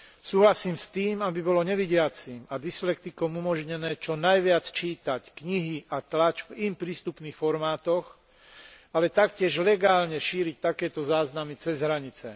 Súhlasím s tým, aby bolo nevidiacim a dyslektikom umožnené čo najviac čítať knihy a tlač v im prístupných formátoch, ale taktiež legálne šíriť takéto záznamy cez hranice.